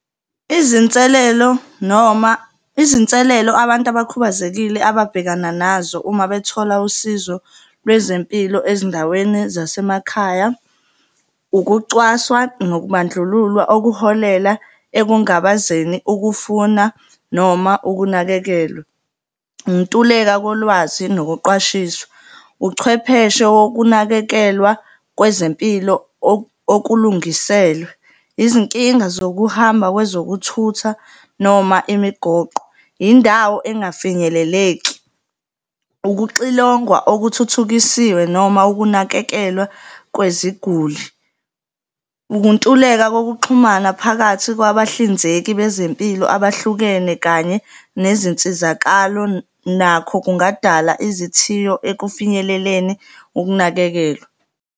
Izinselelo noma izinselelo abantu abakhubazekile ababhekana nazo uma bethola usizo lwezempilo ezindaweni zasemakhaya. Ukucwaswa nokubandlululwa, okuholela ekungabazeni ukufuna noma ukunakekelwa. Ukuntuleka kolwazi nokuqwashiswa. Uchwepheshe wokunakekelwa kwezempilo okulungiselwe, izinkinga zokuhamba kwezokuthutha noma imigoqo, yindawo engafinyeleleki, ukuxilongwa okuthuthukisiwe noma ukunakekelwa kweziguli. Ukuntuleka kokuxhumana phakathi kwabahlinzeki bezempilo abahlukene kanye nezinsizakalo nakho kungadala izithiyo ekufinyeleleni ukunakekelwa.